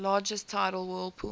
largest tidal whirlpool